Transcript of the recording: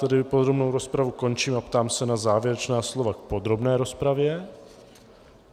Tedy podrobnou rozpravu končím a ptám se na závěrečná slova k podrobné rozpravě.